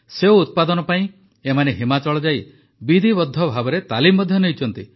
ସେଓ ଉତ୍ପାଦନ ପାଇଁ ଏମାନେ ହିମାଚଳ ଯାଇ ବିଧିବଦ୍ଧଭାବେ ତାଲିମ ମଧ୍ୟ ନେଇଛନ୍ତି